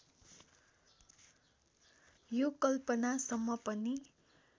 यो कल्पना सम्म पनि